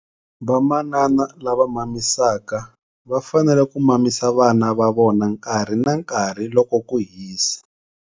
Vamanana lava mamisaka va fanele ku mamisa vana va vona nkarhi na nkarhi loko ku hisa.